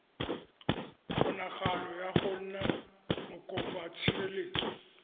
kgonagalo ya go nna mokopatshireletso